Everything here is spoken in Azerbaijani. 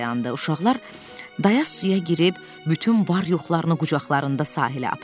Uşaqlar dayaz suya girib bütün var-yoxlarını qucaqlarında sahilə apardılar.